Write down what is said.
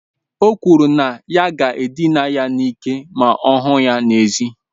O kwuru na ya ga-edina ya n'ike ma ọ hụ ya n'èzí.